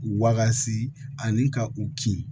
Wakasi ani ka u kin